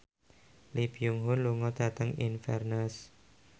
Lee Byung Hun lunga dhateng Inverness